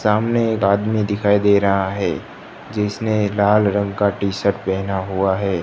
सामने एक आदमी दिखाई दे रहा है जिसने लाल रंग का टी शर्ट पहेना हुआ है।